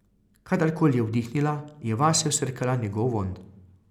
Kadarkoli je vdihnila, je vase vsrkala njegov vonj.